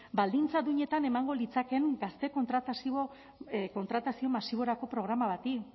baldintza duinetan emango litzatekeen gazte kontratazio masiborako programa bati